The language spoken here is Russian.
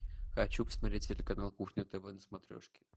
хочу посмотреть телеканал кухня тв на смотрешке